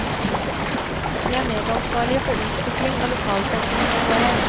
Vi er medansvarlige for utvikling av lokalsamfunnene våre.